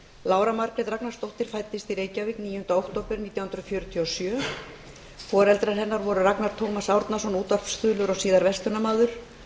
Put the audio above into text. lára margrét ragnarsdóttir fæddist í reykjavík níundi október nítján hundruð fjörutíu og sjö foreldrar hennar voru ragnar tómas árnason útvarpsþulur og síðar verslunarmaður